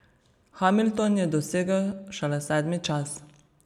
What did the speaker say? Hamilton je dosegel šele sedmi čas.